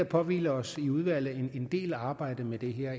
påhviler os i udvalget en del arbejde med det her